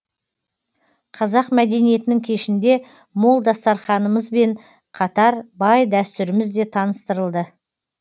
қазақ мәдениетінің кешінде мол дастарханымызбен қатар бай дәстүріміз де таныстырылды